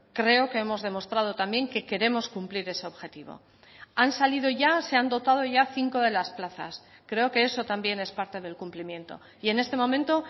creo que hemos demostrado también que queremos cumplir ese objetivo han salido ya se han dotado ya cinco de las plazas creo que eso también es parte del cumplimiento y en este momento